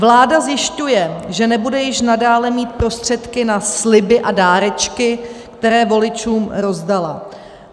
Vláda zjišťuje, že nebude již nadále mít prostředky na sliby a dárečky, které voličům rozdala.